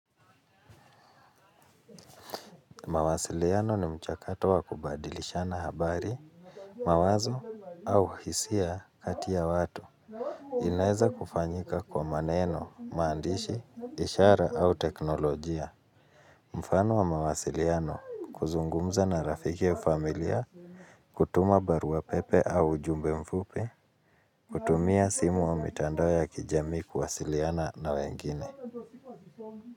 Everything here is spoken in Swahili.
Mawasiliano ni mchakato wa kubadilishana habari, mawazo au hisia kati ya watu. Inaeza kufanyika kwa maneno, maandishi, ishara au teknolojia. Mfano wa mawasiliano, kuzungumza na rafiki au familia, kutuma barua pepe au ujumbe mfupi, kutumia simu wa mitandao ya kijami kuwasiliana na wengine.